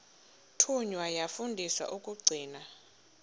thunywa yafundiswa ukugcina